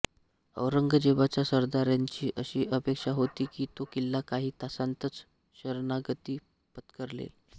औरंगजेबाच्या सरदारांची अशी अपेक्षा होती की तो किल्ला काही तासांतच शरणागती पत्करेल